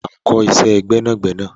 wà á kọ́ iṣẹ́ gbẹ́nàgbẹnà!